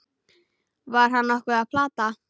Var hann nokkuð að plata?